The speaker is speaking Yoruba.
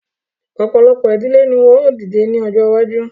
Ọ̀pọ̀lọpọ̀ ìdílé ni wọ́n ó dìde ní ọjọ́ iwájú